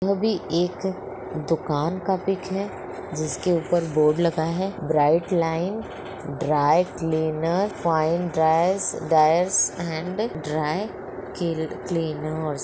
वो वो भी एक दुकान का पिक है जिसके ऊपर बोर्ड लगा है bright line dry cleaners fine dryers dyers and dry clea cleaners.